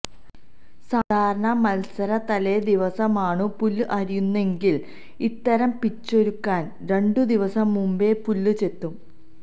സാധാരണ മൽസരത്തലേദിവസമാണു പുല്ല് അരിയുന്നതെങ്കിൽ ഇത്തരം പിച്ചൊരുക്കാൻ രണ്ടുദിവസം മുൻപേ പുല്ല് ചെത്തും